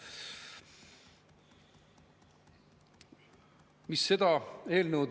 Jaa, ma tuletan meelde, et me oleme eelnõu 146 juures, mis räägib hasartmängumaksu seaduse muutmise seaduse eelnõust.